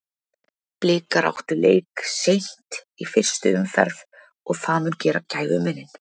Blikar áttu leik seint í fyrstu umferð og það mun gera gæfumuninn.